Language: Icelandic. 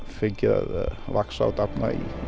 fengið að vaxa og dafna í